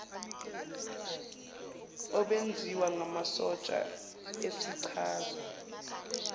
obuwenziwa ngamasotsha esichaza